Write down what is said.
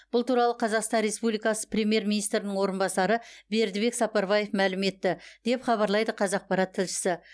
бұл туралы қазақстан республикасы премьер министрінің орынбасары бердібек сапарбаев мәлім етті деп хабарлайды қазақпарат тілшісі